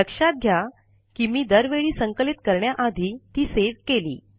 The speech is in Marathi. लक्षात घ्या की मी दरवेळी संकलित करण्याआधी ती सेव्ह केली